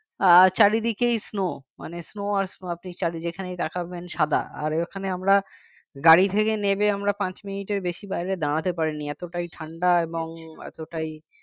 চারিদিকেই snow মানে snow আর আপনি যেখানেই তাকাবেন সাদা আর ওখানে আমরা গাড়ি থেকে নেমে আমরা পাঁচ মিনিটের বেশি বাইরে দাঁড়াতে পারিনি এতটাই ঠান্ডা এবং এতটাই